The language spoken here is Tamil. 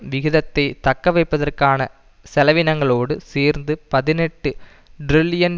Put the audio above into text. விகிதத்தை தக்கவைப்பதற்கான செலவீனங்களோடு சேர்ந்து பதினெட்டு டிரில்லியன்